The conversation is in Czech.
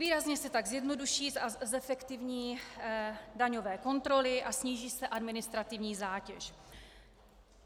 Výrazně se tak zjednoduší a zefektivní daňové kontroly a sníží se administrativní zátěž."